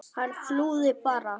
Hann flúði bara!